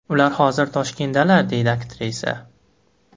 Ular hozir Toshkentdalar”, deydi aktrisa.